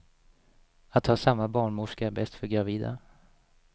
Att ha samma barnmorska är bäst för gravida.